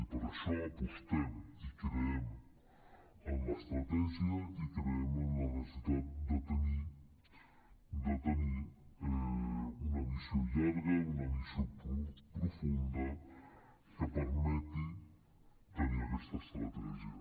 i per això apostem i creiem en l’estratègia i creiem en la necessitat de tenir una visió llarga una visió profunda que permeti tenir aquesta estratègia